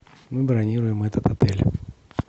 мы бронируем этот отель